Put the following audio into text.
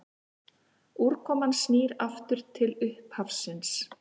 Úrkoman snýr aftur til upphafsins.